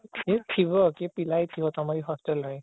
କିଏ ଥିବ କିଏ ପିଲା ହିଁ ଥିବ ତମ hostel ରେ